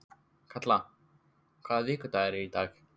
Kalla, hvaða vikudagur er í dag?